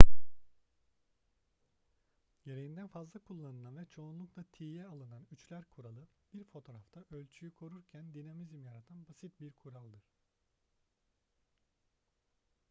gereğinden fazla kullanılan ve çoğunlukla tiye alınan üçler kuralı bir fotoğrafta ölçüyü korurken dinamizm yaratan basit bir kuraldır